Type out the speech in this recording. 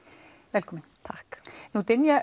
velkomin takk nú dynja